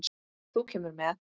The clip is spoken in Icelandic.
Þú kemur með.